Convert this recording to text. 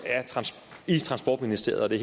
i transportministeriet og det